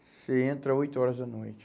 Você entra oito horas da noite.